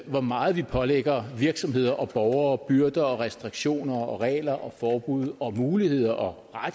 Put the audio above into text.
hvor meget vi pålægger virksomheder og borgere af byrder og restriktioner og regler og forbud og muligheder og